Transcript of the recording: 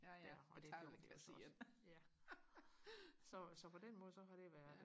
og det gjorde vi også ja så så på den måde så har det været